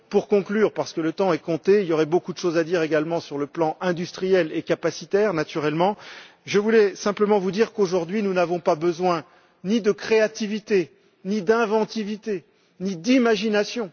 Pour conclure, parce que le temps est compté et qu'il y aurait beaucoup de choses à dire également sur le plan industriel et capacitaire, naturellement, je voudrais simplement vous indiquer qu'aujourd'hui, nous n'avons besoin ni de créativité, ni d'inventivité, ni d'imagination.